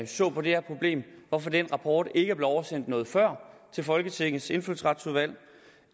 så på det her problem og hvorfor den rapport ikke er blevet oversendt noget før til folketingets indfødsretsudvalg